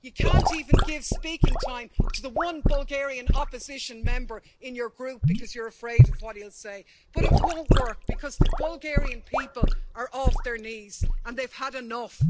You can't even give speaking time to the one Bulgarian opposition Member in your Group because you're afraid of what he'll say. But it won't work because the Bulgarian people are off their knees and they've had enough.